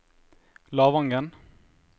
Lavangen